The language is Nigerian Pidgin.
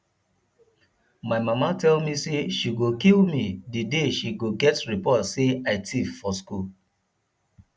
my mama tell me say she go kill me the day she go get report say i thief for school